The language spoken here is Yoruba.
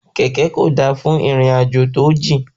Kẹ̀kẹ́ kò da fún ìrìn àjò tí ójìn